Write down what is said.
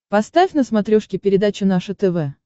поставь на смотрешке передачу наше тв